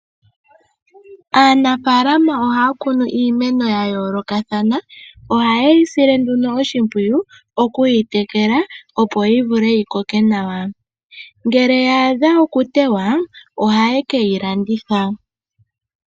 Aanafaalama ohaa kunu iimeno ya yoolokathana. Ohaye yi sile nduno oshimpwiyu, oku yi tekela, opo yi vule yi koke nawa. Ngele ya adha okuteywa, ohaye ke yi landitha.